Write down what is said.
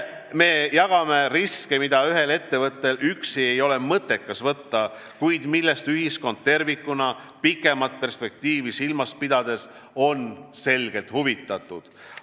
Me jagame riske, mida ühel ettevõttel üksi ei ole mõttekas võtta, kuid millest ühiskond tervikuna pikemat perspektiivi silmas pidades on selgelt huvitatud.